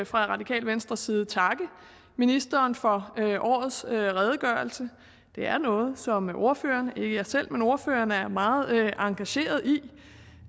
fra radikale venstres side takke ministeren for årets redegørelse det er noget som ordføreren ikke jeg selv men ordføreren er meget engageret i vi